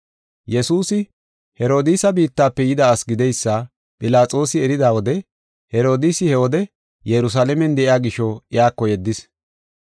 Yesuusi Herodiisa biittafe yida asi gideysa Philaxoosi erida wode Herodiisi he wode Yerusalaamen de7iya gisho iyako yeddis.